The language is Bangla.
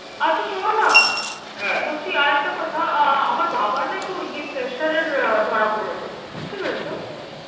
আচ্ছা শোনো না। বলছি আরেকটা কথা, আহ আমার বাবার না একটু ইয়ে pressure এর আহ ধরা পড়েছে। বুঝতে পেরেছো?